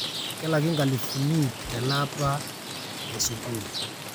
kelaki ropiyani nkalifuni iip tele apa e sukuul